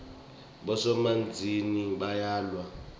bosomabhizinisi bayawa